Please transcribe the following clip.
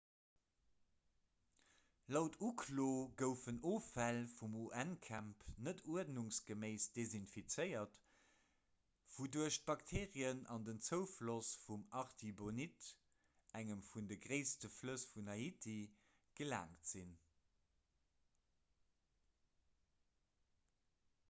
laut uklo goufen offäll vum un-camp net uerdnungsgeméiss desinfizéiert wouduerch bakterien an den zoufloss vum artibonite engem vun de gréisste flëss vun haiti gelaangt sinn